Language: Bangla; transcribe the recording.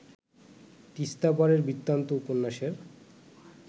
তিস্তাপারের বৃত্তান্ত উপন্যাসের